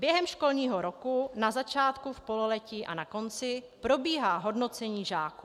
Během školního roku - na začátku, v pololetí a na konci - probíhá hodnocení žáků.